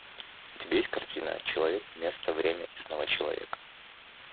у тебя есть картина человек место время и снова человек